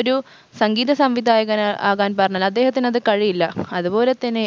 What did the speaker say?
ഒരു സംഗീത സംവിധായകൻ ആകാൻ പറഞ്ഞാൽ അദ്ദേഹത്തിന് അത് കഴിയില്ല അതുപോലെ തന്നെ